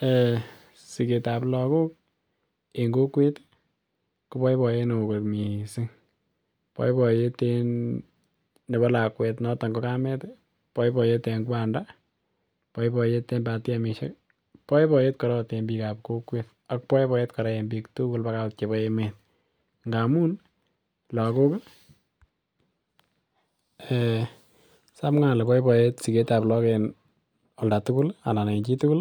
[um]Sigetab logok en kokwet ko boiboiyet ne oo kot missing, boiboiyet en nebo lakwet noton ko kamet ii, boiboiyet en kwanda, boiboiyet en batimisiek ii, boiboiyet koraa ot en biikab kokwet ak boiboiyet koraa en biik tugul baka ot chebo emet ngamun logok um samwa ole boiboiyet sigetab look en olda tugul anan en chi tugul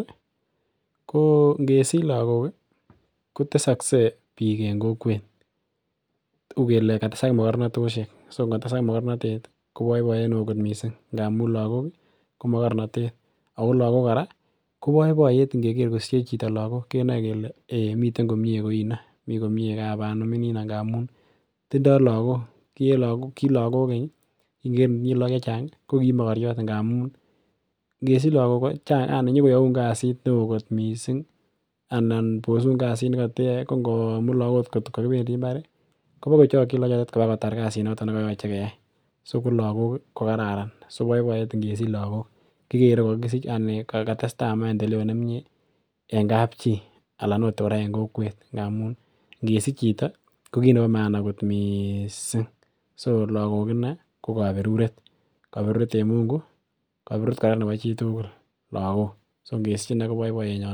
koo ngesich logok ii ko tesogse biik en kokwet uu kelee katesak mogornotosyek so ngotesak mogornotet ii ko boiboiyet ne oo missing ngamun logok ii ko mogornotet ako logok koraa ko boiboiyet ngeger kosiche chito logok kenae kelee eei miten komie koino mii komie kap anum inino amun tindo logok. Kii en lagok keny ii kin itinye logok chechang ii ko kii mogoryot ngamun ngesich logok Chang yani nyo koyoun kazit ne oo kot missing anan bosun kazit ne koteyoe ko ngo komut logok ngot kokibendii imbar ko bokochokyin logok bakotar kazi noton nekoyoche keyay so ko Kararan so boiboiyet ngesich logok anan katestai naendeleo nemie en kapchi anan ot koraa en kokwet ngamun ngesich chito ko kit nebo maana kot miiising so logok inee ko koberuret en mungu koberuret koraa nebo chi tugul logok so ngesich inee ko boiboiyenyon.